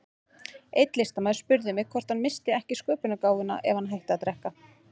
Einn listamaður spurði mig hvort hann missti ekki sköpunargáfuna ef hann hætti að drekka.